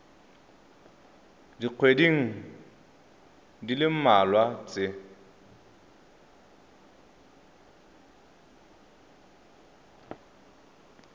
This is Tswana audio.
dikgweding di le mmalwa tse